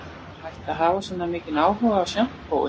Er hægt að hafa svona mikinn áhuga á sjampói